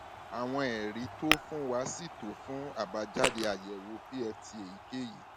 àwọn ẹrí tó o fún wa sì tó fún àbájáde àyẹwò pft èyíkéyìí